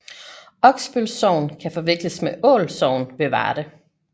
Oksbøl Sogn kan forveksles med Ål Sogn ved Varde